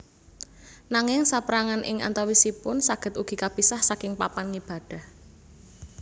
Nanging sapérangan ing antawisipun saged ugi kapisah saking papan ngibadah